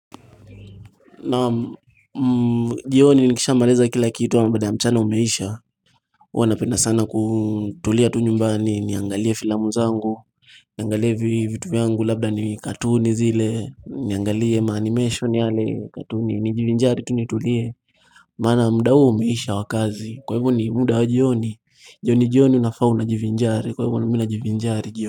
Naam jioni nikisha maliza kila kitu amq baada ya mchana umeisha huwa napenda sana kutulia tu nyumbani niangalie filamu zangu Niangalie vitu vyangu labda ni katuni zile Niangalie ma animation yale katuni nijivinjari tu nitulie Maana muda huo umeisha wa kazi kwa hivyo ni muda wa jioni jioni jioni unafaa una jivinjari kwa hivyo na mimi najivinjari jioni.